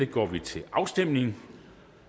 går vi til afstemning